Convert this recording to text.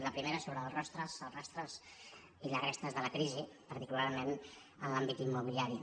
la primera és sobre els rostres els rastres i les restes de la crisi particularment en l’àmbit immobiliari